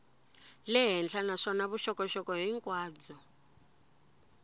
le henhla naswona vuxokoxoko hinkwabyo